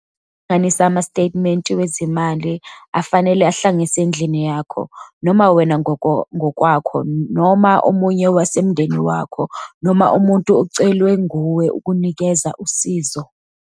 Kuhlanganisa ama stetimente ezimali afanele ahlanganiswe endlini yakho - noma wena ngokwakho noma omunye wasemndeni wakho noma umuntu ocelwe nguwe ukunikeza usizo.